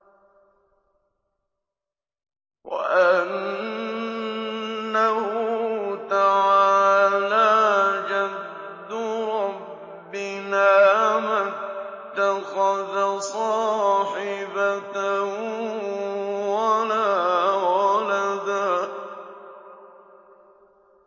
وَأَنَّهُ تَعَالَىٰ جَدُّ رَبِّنَا مَا اتَّخَذَ صَاحِبَةً وَلَا وَلَدًا